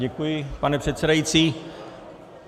Děkuji, pane předsedající.